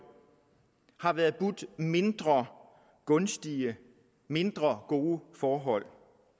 har været budt mindre gunstige mindre gode forhold